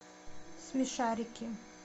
смешарики